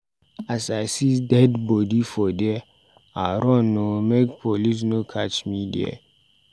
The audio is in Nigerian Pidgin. As I see dead bodi for there, I run o make police no catch me there.